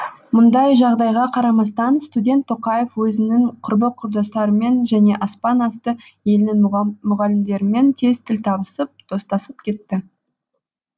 мұндай жағдайға қарамастан студент тоқаев өзінің құрбы құрдастарымен және аспан асты елінің мұғалімдерімен тез тіл табысып достасып кетті